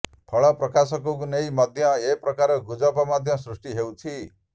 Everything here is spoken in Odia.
ଫଳ ପ୍ରକାଶକୁ ନେଇ ମଧ୍ୟ ଏକ ପ୍ରକାର ଗୁଜବ ମଧ୍ୟ ସୃଷ୍ଟି ହେଉଛି